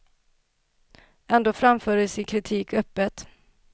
Ändå framför de sin kritik öppet.